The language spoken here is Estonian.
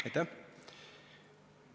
Aitäh!